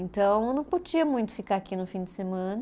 Então eu não podia muito ficar aqui no fim de semana.